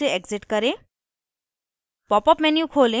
modelkit menu से exit करें